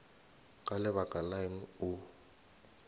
ka lebaka la eng o